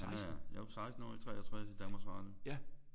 Han er jo 16 år i 63 i Danmarks Radio